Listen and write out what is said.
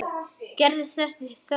Gerist þess þörf.